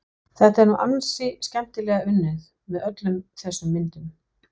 Þetta er nú ansi skemmtilega unnið, með öllum þessum myndum.